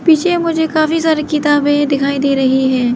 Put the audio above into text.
पीछे मुझे काफी सारी किताबें दिखाई दे रही है।